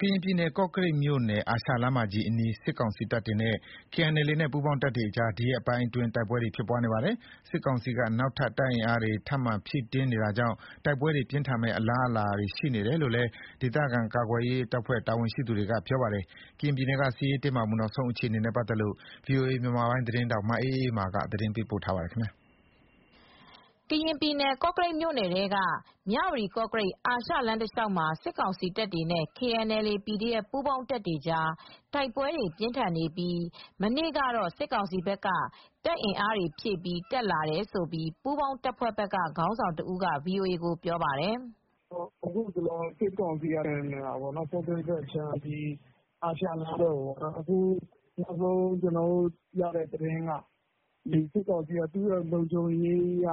ကရင်ပြည် ကော့ကရိတ်မြို့နယ် အာရှလမ်းမကြီးအနီး စစ်ကောင်စီတပ်တွေနဲ့ KNLA နဲ့ ပူးပေါင်း တပ်တွေကြား ဒီရက်ပိုင်းအတွင်း တိုက်ပွဲတွေဖြစ်နေပါတယ်။ စစ်ကောင်စီက နောက်ထပ် တပ် အင်အားတွေ ထပ်မံဖြည့်တင်းနေတာကြောင့် တိုက်ပွဲတွေပြင်းထန်မယ့် အလားအလာတွေ ရှိနေတယ် လို့လည်း ဒေသခံကာကွယ်ရေးတပ်ဖွဲ့ တာဝန်ရှိသူ တယောက်က ပြောပါတယ်။ ကရင်ပြည်နယ်က စစ်ရေးတင်းမာမှု နောက်ဆုံးအခြေအနေနဲ့ ပတ်သက်လို့ ဗွီအိုအေမြန်မာပိုင်း သတင်းထောက် မအေးအေးမာ သတင်းပေးပို့ထားပါတယ်။ ကရင်ပြည်နယ် ကောကရိတ်မြို့နယ်ထဲက မြဝတီကော့ကရိတ် အာရှလမ်းတလျှောက်မှာ စစ်ကောင်စီ တပ်တွေနဲ့ KNLA/PDF ပူးပေါင်းတပ်တွေကြား တိုက်ပွဲတွေပြင်းထန်နေပြီး မနေ့ကတော့ စစ်ကောင်စီ ဘက်က တပ်အင်အားဖြည့်ပြီး တက်လာတယ်လို့ ပူးပေါင်းတပ်ဖွဲ့ဘက်က ခေါင်းဆောင်တဦးက VOAကိုပြောပါတယ်။ "အခုစစ်ကောင်စီဘက်က အာရှလမ်းဘက်ကိုထိုးစစ်ဆင်နေတာ နောက်ဆုံးရထားတဲ့သတင်းအရ စစ်ကောင်စီကလုံခြုံရေးအရ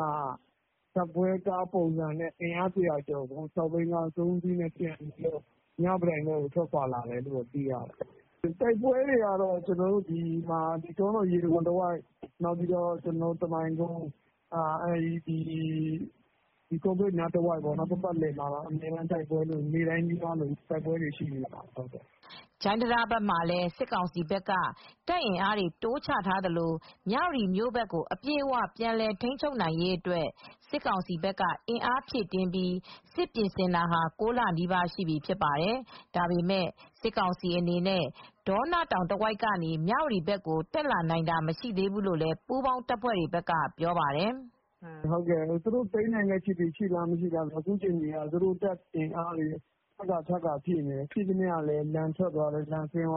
ဇာတ်ပွဲကားပုံစံနဲ့ အင်အား ၁၀၀ ကျော်ကို ၆ဘီးကား ၃ စီးနဲ့ သယ်လာတာ တွေ့ရပါတယ်။ တိုက်ပွဲတွေကတော့ တောနော ရေတံတခွန်တဝိုက် ကမိုင်ကုန်း ဘက်တွေမှာဖြစ်နေတယ်။ ကော့ကရိတ်တဝိုက် နေ့တိုင်းနီးပါး အမြဲတမ်းလိုလို တိုက်ပွဲတွေဖြစ်နေတယ်။" ဂျိုင်းတံတားဘက်မှာလည်းစစ်ကောင်စီဘက်က တပ်အင်အားတွေ တိုးချထားသလို မြဝတီမြို့ဘက်ကို အပြည့်အဝပြန်လည်ထိန်းချုပ်နိုင်ရေးအတွက် စစ်ကောင်စီဘက်က အင်အားဖြည့်တင်းပြီး စစ်ပြင်ဆင်တာ ၉ လနီးပါးရှိနေပြီဖြစ်ပါတယ်။ ဒါပေမယ့် စစ်ကောင်စီအနေနဲ့ ဒေါနတောင်တဝိုက်ကနေ မြဝတီကို တက်မလာနိုင်သေးဘူးလို့လည်း ပူးပေါင်းတပ်တွေဘက်ကပြောပါတယ်။ "သိမ်းနိုင်တဲ့အခြေအနေရှိလားဆိုတော့ သူတို့က တပ်အင်အားတွေ ထပ်ခါထပ်ခါ ဖြည့်တင်းနေတယ်။ ဖြည့်သမျှ လန်ဆင်းသွားတယ်။ အောင်ဇေယျ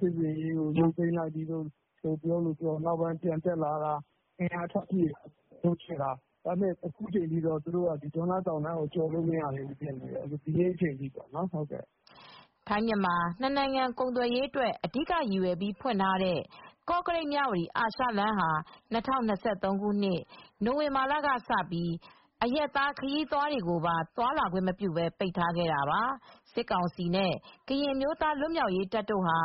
စစ်ဆင်ရေးကိုရုပ်သိမ်းပြီလို့ပြောလိုက်၊ ပြန်တက် လာလိုက်နဲ့ အင်အားဖြည့်လိုက်နဲ့။ ဒါပေမယ့် ဒေါနတောင်တဝိုက်ကနေ ကျော်လာလို့မရသေးဘူး။ ဒီနေ့ အချိန်ထိပေါ့။" ထိုင်း-မြန်မာ နှစ်နိုင်ငံကုန်သွယ်ရေးအတွက် အဓိကရည်ရွယ်ပြီး ဖွင့်ထားတဲ့ ကော့ကရိတ်-မြဝတီ အာရှလမ်းဟာ ၂၀၂၃ ခုနှစ် နိုဝင်ဘာလကစပြီး အရပ်သားခရီးသွားတွေကိုပါ သွားလာခွင့်မပြုဘဲ ပိတ်ထားခဲ့တာပါ။ စစ်ကောင်စီနဲ့ ကရင်အမျိုးသားလွတ်မြောက်ရေးတပ်တို့ ဟာ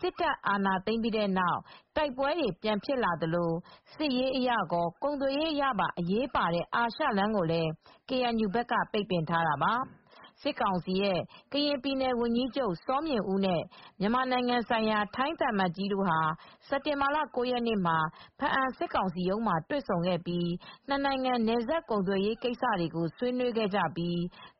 စစ်တပ်အာဏာ သိမ်းပြီးနောက် တိုက်ပွဲတွေပြန်ဖြစ်လာသလို စစ်ရေးအရကော ကုန်သွယ်ရေးအရပါ အရေးပါတဲ့ အာရှလမ်းကိုလည်း KNU ဘက်ကလည်း ပိတ်ပင်ထားတာပါ။ စစ်ကောင်စီ ကရင်ပြည်နယ်ဝန်ကြီးချုပ်၊ စောမြင့်ဦးနဲ့ မြန်မာနိုင်ငံဆိုင်ရာ ထိုင်းသံအမတ်ကြီးတို့ဟာ စက်တင်ဘာ ၉ရက်နေ့မှာ ဖားအံစစ်ကောင်စီရုံးမှာတွေ့ဆုံခဲ့ပြီး နှစ်နိုင်ငံနယ်စပ်ကုန်သွယ်ရေး ကိစ္စတွေကို ဆွေးနွေးခဲ့ကြသလို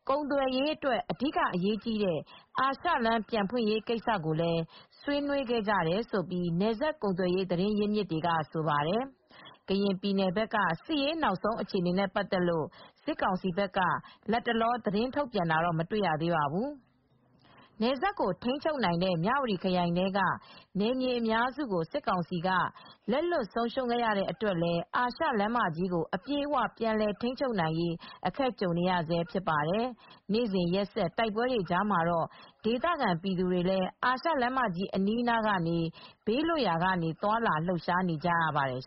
ကုန်သွယ်ရေးအတွက် အဓိက အရေးကြီးတဲ့ အာရှလမ်းပြန်ဖွင့်ရေး ကိစ္စတွေလည်းဆွေးနွေးခဲ့ကြတယ်လို့ နယ်စပ်ကုန်သွယ်ရေးသတင်းရင်းမြစ်တွေကဆိုပါတယ်။ ကရင်ပြည်နယ်ကစစ်ရေး နောက်ဆုံးအခြေအနေနဲ့ ပတ်သက်လို့ စစ်ကောင်စီက လတ်တလော သတင်းထုတ်ပြန်တာတော့ မတွေ့ရသေးပါဘူး။ နယ်စပ်ကိုထိန်းချုပ်နိုင်တဲ့ မြဝတီခရိုင်ထဲက နယ်မြေအများစုကို စစ်ကောင်စီက လက်လွှတ်ဆုံးရှုံးခဲ့ရတဲ့အတွက်လည်း အာရှလမ်းမကြီးကို အပြည့်အ၀ ပြန်လည်ထိန်းချုပ်နိုင်ရေး အခက်ကြုံနေရဆဲ ဖြစ်ပါတယ်။ နေ့စဉ်ရက်ဆက် တိုက်ပွဲတွေကြားမှာတော့ ဒေသခံပြည်သူတွေလည်း အာရှလမ်းမကြီးအနီးအနားကနေ ဘေးလွတ်ရာက သွားလာလှုပ်ရှားနေကြရပါတယ်